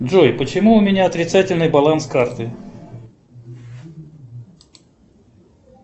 джой почему у меня отрицательный баланс карты